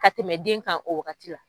Ka tɛmɛ den kan o wagati la.